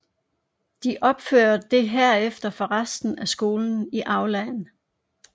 De opfører det herefter for resten af skolen i aulaen